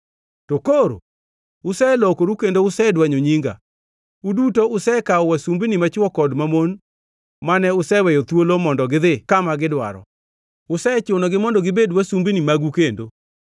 To koro uselokoru kendo usedwanyo nyinga; uduto usekawo wasumbini machwo kod mamon mane useweyo thuolo mondo gidhi kama gidwaro. Usechunogi mondo gibed wasumbini magu kendo.